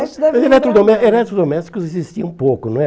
eletredome Eletrodomésticos existia um pouco, não é?